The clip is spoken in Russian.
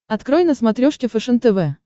открой на смотрешке фэшен тв